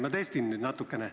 Ma testin nüüd natukene.